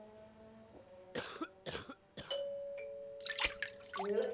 നിങ്ങൾ